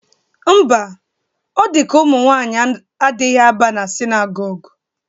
Mba, o dị ka umụnwanyị adịghị aba na sinagogu